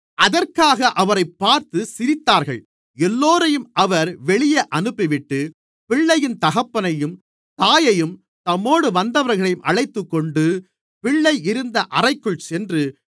அதற்காக அவரைப் பார்த்து சிரித்தார்கள் எல்லோரையும் அவர் வெளியே அனுப்பிவிட்டு பிள்ளையின் தகப்பனையும் தாயையும் தம்மோடு வந்தவர்களையும் அழைத்துக்கொண்டு பிள்ளை இருந்த அறைக்குள் சென்று